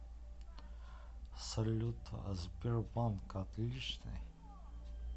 салют а сбербанк отличный